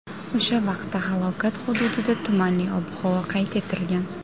O‘sha vaqtda halokat hududida tumanli ob-havo qayd etilgan.